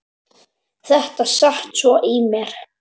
Þetta sat svo í mér.